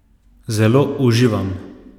Zelo uživam.